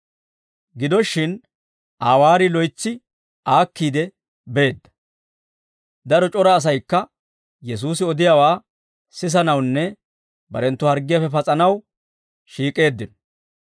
Gido shin Aa waarii loytsi aakkiide beedda; daro c'ora asaykka Yesuusi odiyaawaa sisanawunne barenttu harggiyaappe pas'anaw shiik'eeddino.